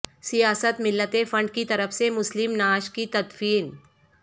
سیاست ملت فنڈ کی طرف سے مسلم نعش کی تدفین